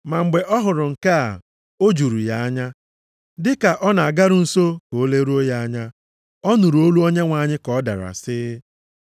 Ma mgbe ọ hụrụ nke a, o juru ya anya. Dị ka ọ na-agaru nso ka o leruo ya anya, ọ nụrụ olu Onyenwe anyị ka ọ dara, sị,